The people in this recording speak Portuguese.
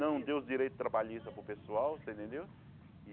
Não deu os direitos trabalhistas para o pessoal, você entendeu?